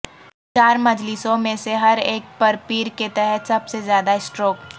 چار مجلسوں میں سے ہر ایک پر پیر کے تحت سب سے زیادہ سٹروک